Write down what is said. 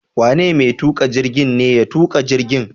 Wane mai tuƙa jirgi ne ya tuƙa jirgin?